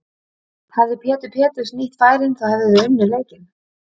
Hefði Pétur Péturs nýtt færin þá hefðuð þið unnið leikinn?